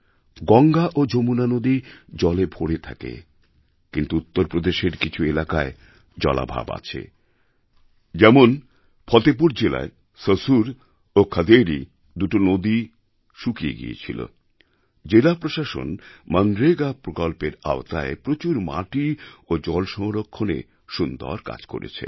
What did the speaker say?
গঙ্গা ও যমুনা নদী জলে ভরে থাকে কিন্তু উত্তরপ্রদেশের কিছু এলাকায় জলাভাব আছে যেমন ফতেহ্পুর জেলায় সসুর ও খদেবী দুটো ছোট নদী শুকিয়ে গেছিল জেলা প্রশাসন মনরেগা প্রকল্পের আওতায় প্রচুর মাটি ও জলসংরক্ষণের মাধ্যমে নদী দুটিকে পুনরুজ্জীবিত করেছে